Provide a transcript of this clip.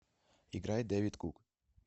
играй дэвид кук